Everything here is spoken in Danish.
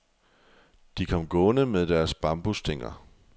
De kom gående med deres bambusstænger.